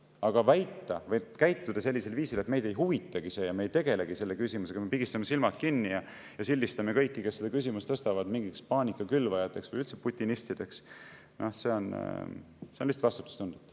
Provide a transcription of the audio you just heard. Aga väita või käituda sellisel viisil, et meid ei huvitagi see ja me ei tegele selle küsimusega, me pigistame silmad kinni ja sildistame kõiki, kes seda küsimust tõstavad, mingiteks paanika külvajateks või üldse putinistideks, on lihtsalt vastutustundetu.